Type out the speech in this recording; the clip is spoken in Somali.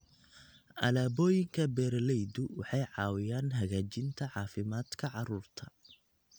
Alaabooyinka beeralaydu waxay caawiyaan hagaajinta caafimaadka carruurta.